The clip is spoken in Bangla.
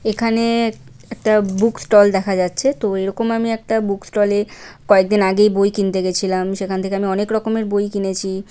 এখানে এক-একটা বুকস্টল দেখা যাচ্ছে তো এরকম আমি একটা বুকস্টলে কয়েকদিন আগেই বই কিনতে গেছিলাম সেখান থেকে আমি অনেক রকমের বই কিনেছি।